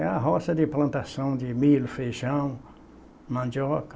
Era roça de plantação de milho, feijão, mandioca.